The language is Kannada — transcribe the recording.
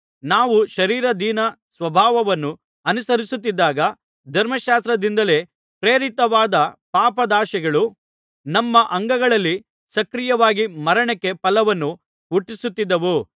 ನಾವು ಶರೀರಾಧೀನ ಸ್ವಭಾವವನ್ನು ಅನುಸರಿಸುತ್ತಿದ್ದಾಗ ಧರ್ಮಶಾಸ್ತ್ರದಿಂದಲೇ ಪ್ರೇರಿತವಾದ ಪಾಪಾದಾಶೆಗಳು ನಮ್ಮ ಅಂಗಗಳಲ್ಲಿ ಸಕ್ರಿಯವಾಗಿ ಮರಣಕ್ಕೆ ಫಲವನ್ನು ಹುಟ್ಟಿಸುತ್ತಿದ್ದವು